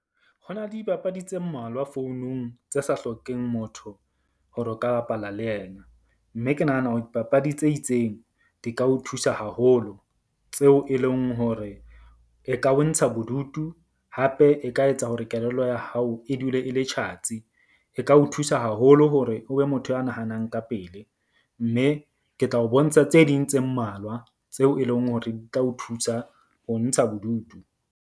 Ho na le dibapadi tse mmalwa founung tse sa hlokeng motho hore o ka bapala le yena. Mme ke nahana hore dipapadi tse itseng di ka o thusa haholo, tseo e leng hore e ka wa ntsha bodutu. Hape e ka etsa hore kelello ya hao e dule e le tjhatsi e ka o thusa haholo hore o be motho a nahanang ka pele. Mme ke tla o bontsha tse ding tse mmalwa tseo e leng hore di tla o thusa ho ntsha bodutu.